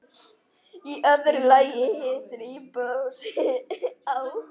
Í öðru lagi hitun íbúðarhúss á